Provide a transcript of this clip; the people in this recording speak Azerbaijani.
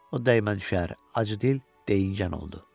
O dəymə düşər, acıdil, deyingən oldu.